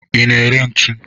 Ị na-ere ntu?